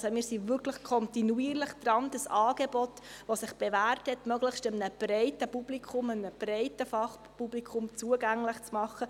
Also: Wir sind wirklich kontinuierlich daran, dieses Angebot, das sich bewährt hat, einem möglichst breiten Publikum, einem breiten Fachpublikum zugänglich zu machen.